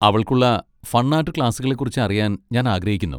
അവൾക്കുള്ള fun art ക്ലാസുകളെ കുറിച്ച് അറിയാൻ ഞാൻ ആഗ്രഹിക്കുന്നു.